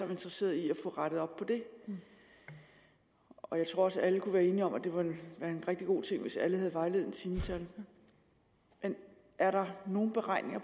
interesserede i at få rettet op på det og jeg tror også alle kan være enige om at det ville være en rigtig god ting hvis alle havde vejledende timetal er der nogen beregninger af